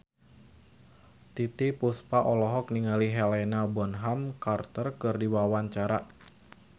Titiek Puspa olohok ningali Helena Bonham Carter keur diwawancara